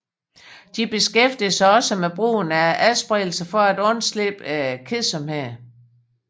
De beskæftiger sig også med brugen af adspredelser for at undslippe kedsomheden